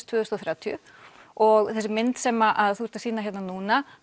tvö þúsund og þrjátíu og þessi mynd sem þú ert að sýna hér núna